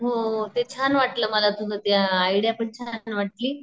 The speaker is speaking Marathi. हो ते छान वाटलं मला तुझं ते आयडिया पण छान वाटली.